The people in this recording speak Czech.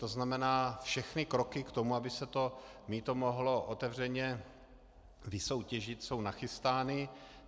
To znamená, všechny kroky k tomu, aby se to mýto mohlo otevřeně vysoutěžit, jsou nachystány.